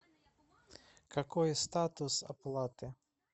какой статус оплаты